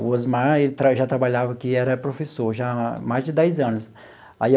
O Osmar ele tra já trabalhava aqui, era professor já há mais de dez anos aí.